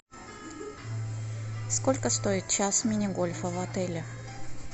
сколько стоит час мини гольфа в отеле